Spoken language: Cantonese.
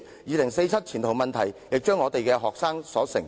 2047年前途問題，也將要由學生承受。